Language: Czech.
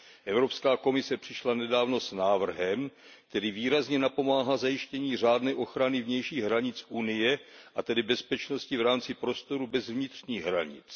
Evropská komise přišla nedávno s návrhem, který výrazně napomáhá zajištění řádné ochrany vnějších hranic Evropské unie a tedy bezpečnosti v rámci prostoru bez vnitřních hranic.